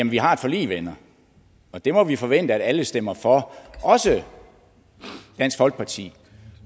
vi har et forlig venner og det må vi forvente at alle stemmer for også dansk folkeparti